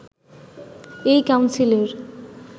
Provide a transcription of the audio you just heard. এই কাউন্সিলের